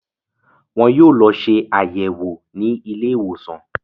Wọn yóò lọ ṣe àyẹ̀wò ní ilé ìwòsàn